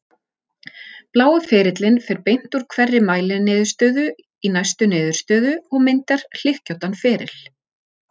Blái ferillinn fer beint úr hverri mæliniðurstöðu í næstu niðurstöðu og myndar hlykkjóttan feril.